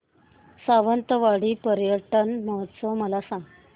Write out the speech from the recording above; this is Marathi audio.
सावंतवाडी पर्यटन महोत्सव मला सांग